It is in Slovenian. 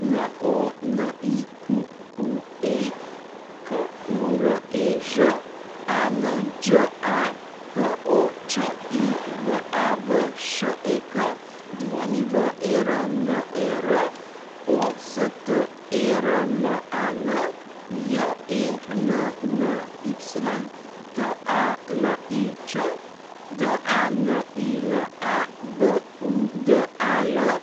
Monique Kurež, Anđa Počivavšek, Werner Osterman, Jenny Talić, Danila Budal,